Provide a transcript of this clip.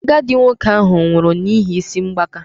Agadi nwoke ahụ nwụrụ n'ihi isi mgbaka